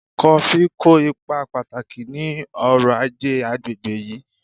Kofí kó ipa pàtàkì ní ọrọ-ajé àgbègbè yìí